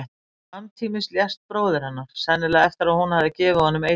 Samtímis lést bróðir hennar, sennilega eftir að hún hafði gefið honum eitur.